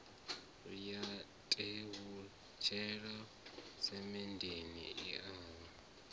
ya tevhutshela semenndeni i a